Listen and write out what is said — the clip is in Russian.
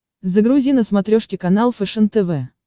загрузи на смотрешке канал фэшен тв